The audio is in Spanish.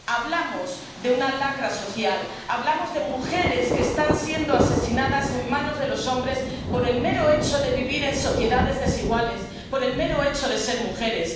Hablamos de una lacra social, hablamos de mujeres que están siendo asesinadas a manos de los hombres por el mero hecho de vivir en sociedades desiguales, por el mero hecho de ser mujeres.